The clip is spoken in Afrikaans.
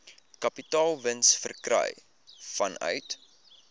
kapitaalwins verkry vanuit